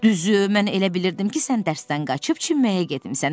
Düzü, mən elə bilirdim ki, sən dərsdən qaçıb çimməyə getmisən.